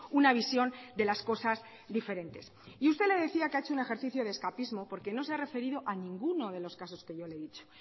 una visión de las cosas diferentes y usted le decía que ha hecho un ejercicio de escapismo porque no se ha referido a ninguno de los casos que yo le he dicho